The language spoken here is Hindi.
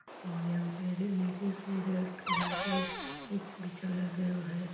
और यहां पे नीचे से रेड कलर का कुछ बिछाया गया है।